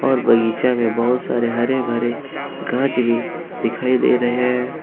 और बगीचा में बहुत सारे हरे भरे गांच भी दिखाई दे रहे हैं।